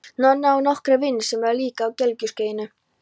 Nonni á nokkra vini sem eru líka á gelgjuskeiðinu.